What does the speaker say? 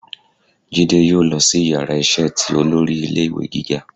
Jidé yóò losí iyàrá iṣẹ tí olórí ilé ìwé gíga